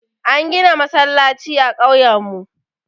An gina masallaci a ƙauye mu.